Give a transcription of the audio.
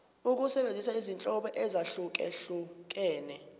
ukusebenzisa izinhlobo ezahlukehlukene